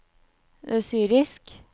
syrisk